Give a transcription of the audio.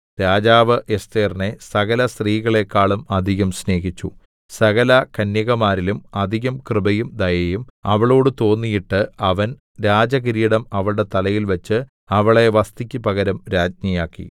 രാജാവ് എസ്ഥേരിനെ സകലസ്ത്രീകളെക്കാളും അധികം സ്നേഹിച്ചു സകലകന്യകമാരിലും അധികം കൃപയും ദയയും അവളോടു തോന്നിയിട്ട് അവൻ രാജകിരീടം അവളുടെ തലയിൽ വച്ച് അവളെ വസ്ഥിക്ക് പകരം രാജ്ഞിയാക്കി